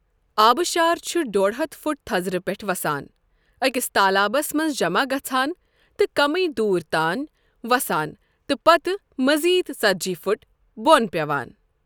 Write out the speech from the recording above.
آبشار چُھ ڈۄڈ ہتھ فُٹ تَھزرٕ پٮ۪ٹھہٕ وسان، أکِس تالابَس مَنٛز جَمَع گَژھان تہٕ کَمٕی دوُر تان وسان تہٕ پَتہٕ مزید ژتجی فُٹ بون پٮ۪وان ۔